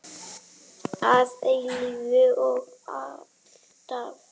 Að eilífu og alltaf.